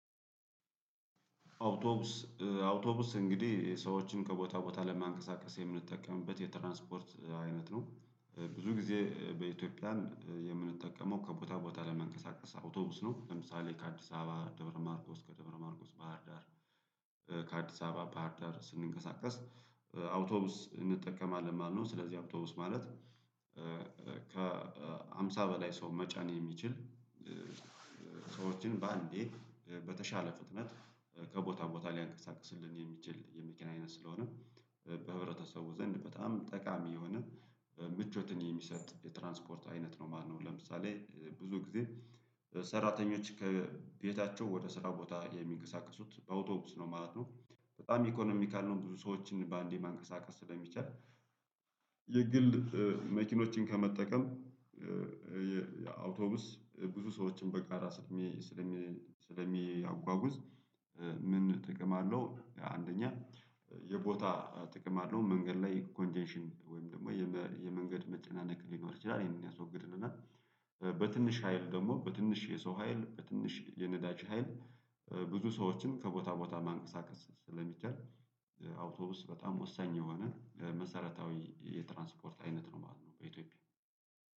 አውቶቡስ አውቶቡስ እንግዲህ ሰዎችን ከቦታ ቦታ ለማንቀሳቀስ የምንጠቀምበት የትራንስፖርት አይነት ነው ብዙ ጊዜ በኢትዮጵያን የምንጠቀመው ከቦታ ቦታ ለመንቀሳቀስ አውቶቡስ ነው። ለምሳሌ ከአዲስ አበባ ደብረ ማርቆስ ከደብረ ማርቆስ ባህርዳር ከአዲስ አበባ ባህርዳር ስንንቀሳቀስ አውቶቡስ እንጠቀማለን ማለት ነው። ስለዚህ አውቶቡስ ማለት ከሃምሳ በላይ ሰው መጫን የሚችል ሰዎችን በአንዴ በተሻለ ፍጥነት ከቦታ ቦታ ሊያንቀሳቅስልን የሚችል የመኪና አይነት ስለሆነ በህብረተሰቡ ዘንድ በጣም ጠቃሚ የሆነ ምቾትን የሚሰጥ የትራንስፖርት አይነት ነው ማለት ነው። ለምሳሌ ብዙ ጊዜ ሰራተኞች ከቤታቸው ወደ ስራ ቦታ የሚንቀሳቀሱት በአውቶቡስ ነው ማለት ነው። በጣም ኢኮኖሚካል ነው። ብዙ ሰዎችን በአንዴ ማንቀሳቀስ ስለሚቻል የግል መኪኖችን ከመጠቀም አውቶቡስ ብዙ ሰዎችን በጋራ ስለሚ ስለሚያጓጉዝ? ምን ጥቅም አለው አንደኛ የቦታ ጥቅም አለው። መንገድ ላይ ኮንቴንሽን ወይም ደግሞ የመንገድ መጨናነቅ ሊኖር ይችላል ይሄን ያስወግድልናል። እ በትንሽ ሀይል ደግሞ በትንሽ የሰው ሀይል በትንሽ የነዳች ሀይል ብዙ ሰዎችን ከቦታ ቦታ ማንቀሳቀስ ስለሚቻል አውቶቡስ በጣም ወሳኝ የሆነ መሰረታዊ የትራንስፖርት አይነት ነው ማለት ነው። በኢትዮጵያ